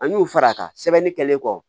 An y'u fara a kan sɛbɛnni kɛlen kɔ